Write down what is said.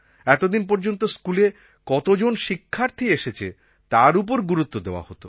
এতদিন পর্যন্ত স্কুলে কতজন শিক্ষার্থী এসেছে তার ওপর গুরুত্ব দেওয়া হত